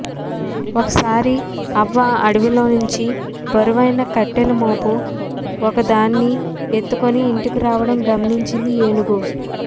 ఒకసారి అవ్వ అడవిలోంచి బరువైన కట్టెల మోపు ఒకదాన్ని ఎత్తుకొని ఇంటికి రావటం గమనించింది ఏనుగు